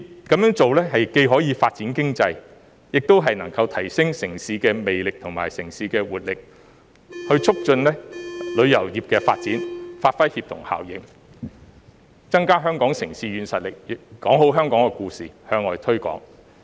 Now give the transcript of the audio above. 這樣做既可發展經濟，也能夠提升城市魅力和活力，促進旅遊業發展，發揮協同效應，增加香港的城市軟實力，說好香港故事，向外推廣。